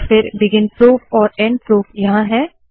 और फिर begin proof और एंड प्रूफ यहाँ है